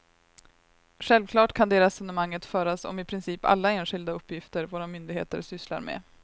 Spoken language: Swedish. Självklart kan det resonemanget föras om i princip alla enskilda uppgifter våra myndigheter sysslar med.